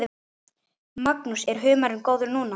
Magnús: Er humarinn góður núna?